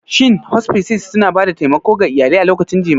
Shin Hospices suna ba da taimako ga iyalai a lokacin jimami?